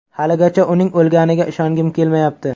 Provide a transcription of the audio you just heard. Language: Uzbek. Haligacha uning o‘lganiga ishongim kelmayapti.